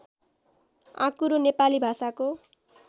आँकुरो नेपाली भाषाको